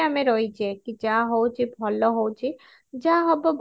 ଆମେ ରହିଛେ କି ଯାହା ହଉଛି ଭଲ ହଉଛି ଯାହା ହବ